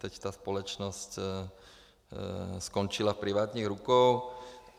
Teď ta společnost skončila v privátních rukou.